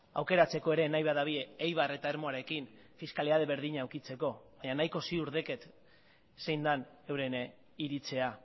aukeratzeko ere nahi badute eibar eta ermuarekin fiskalidade berdina edukitzeko baina nahiko ziur daukat zein den euren iritzia